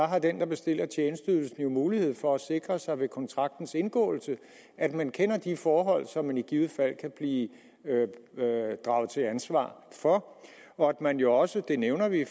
har den der bestiller tjenesteydelsen jo mulighed for at sikre sig ved kontraktens indgåelse at man kender de forhold som man i givet fald kan blive draget til ansvar for og at man jo også det nævner vi i